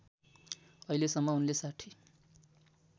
अहिलेसम्म उनले ६०